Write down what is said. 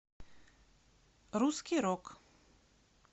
русский рок